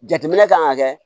Jateminɛ kan ka kɛ